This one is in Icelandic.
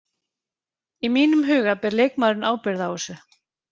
Í mínum huga ber leikmaðurinn ábyrgð á þessu.